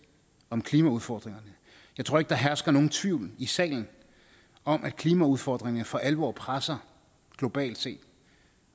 om klimaudfordringerne jeg tror ikke der hersker nogen tvivl i salen om at klimaudfordringerne for alvor presser globalt set